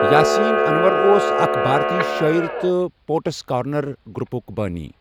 یٰسِین اَنور اۄس اَكھ بارَتی شٲعِر تہٕ پوٹس کارنر گروپُک بٲنی۔